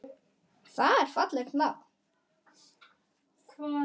Það er fallegt nafn.